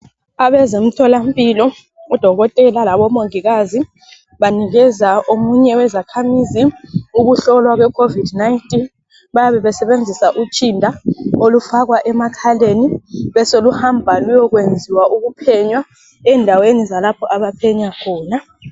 Abezemtholampilo odokotela labomongikazi banikeza omunye wezakhamizi ukuhlolwa kwecovid19. Bayabebesebenzisa utshinda olufakwa emakhaleni beseluhamba luyekwenziwa ukuphenywa endaweni zalapho abaphenya khona.